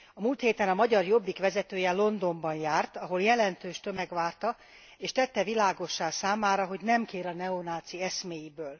Múlt héten a magyar Jobbik vezetője Londonban járt, ahol jelentős tömeg várta és tette világossá számára, hogy nem kér a neonáci eszméiből.